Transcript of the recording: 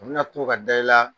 A bina to ka da i la